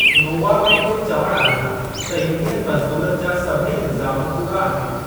Novamed जो चवणु आहे त यूनियन मज़दूरनि जा सभेई इल्ज़ाम कूड़ा आहिनि।